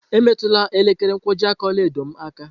Emetụla elekere nkwojiaka ọla edo m aka!